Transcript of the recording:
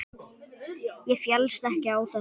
Ég féllst ekki á þetta.